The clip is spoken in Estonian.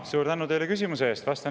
Suur tänu teile küsimuse eest!